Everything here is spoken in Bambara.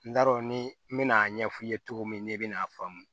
N t'a dɔn ni n bɛna a ɲɛfɔ i ye cogo min n'i bɛna a faamu